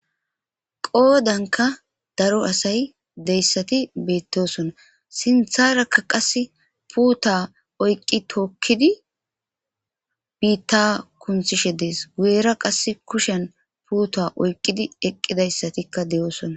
Qoodanka daro asay deyssati beettosona sintharakka qas puuta oyqqi tookkidi biitta kunthishe dees guyera qas kushen puuta oyqqidi eqqidayssatikka de7oosona.